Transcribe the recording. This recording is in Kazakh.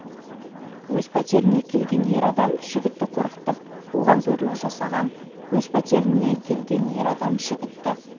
өз пәтеріне келген ер адам жігітті қорқытып оған зорлық жасаған өз пәтеріне келген ер адам жігітті